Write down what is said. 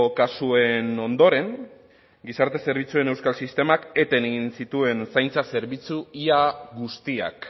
kasuen ondoren gizarte zerbitzuen euskal sistemak eten egin zituen zaintza zerbitzu ia guztiak